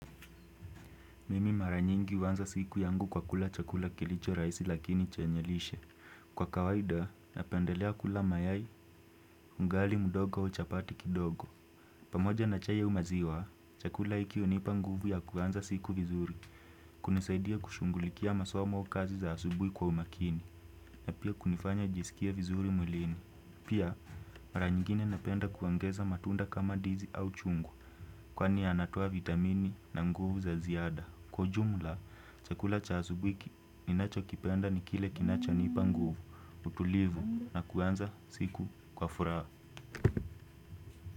Mimi mara nyingi huanza siku yangu kwa kula chakula kilicho rahisi lakini chenye lishe. Kwa kawaida, napendelea kula mayai, ugali, mdogo, chapati kidogo. Pamoja na chai au maziwa, chakula hiki hunipa nguvu ya kuanza siku vizuri. Kunisaidia kushugulikia masumo au kazi za asubuhi kuwa umakini. Na pia kunifanya nijisikie vizuri mwilini. Pia, mara nyingine napenda kuongeza matunda kama ndizi au chungwa. Kwani yanatoa vitamini na nguvu za ziada. Kwa ujumla, chakula cha asubui ninacho kipenda ni kile kinacho nipanguvu, tutulivu na kuanza siku kwa furaha.